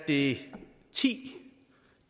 det ti